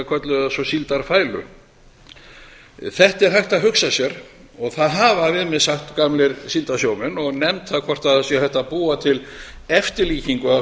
kölluðu það svo síldarfælu þetta er hægt að hugsa sér og það hafa sagt við mig gamlir síldarsjómenn og nefnt það hvort hægt sé að búa til eftirlíkingu af